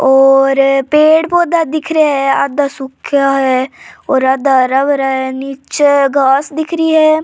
और पेड़ पौधा दिख रेया है आधा सूखा है और आधा हरा भरा है निचे घास दिख री है।